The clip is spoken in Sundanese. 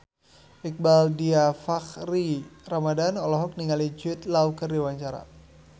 Iqbaal Dhiafakhri Ramadhan olohok ningali Jude Law keur diwawancara